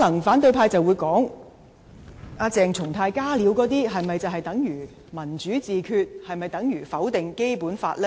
反對派可能會說，鄭松泰那些"加料"是否等同"民主自決"、否定《基本法》呢？